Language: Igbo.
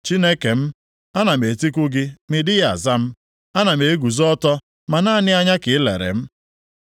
“Chineke m, anam etiku gị ma ị dịghị aza m; anam eguzo ọtọ, ma naanị anya ka i lere m.